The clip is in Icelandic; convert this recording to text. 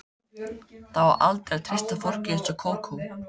Það á aldrei að treysta fólki eins og Kókó.